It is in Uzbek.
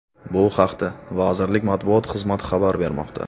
Bu haqda vazirlik matbuot xizmati xabar bermoqda .